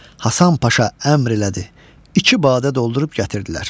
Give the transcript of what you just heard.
Hasan Paşa əmr elədi, iki badə doldurub gətirdilər.